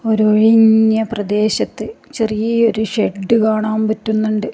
ഒരു ഒഴിഞ്ഞ പ്രദേശത്ത് ചെറിയൊരു ഷെഡ്ഡ് കാണാൻ പറ്റുന്നുണ്ട്.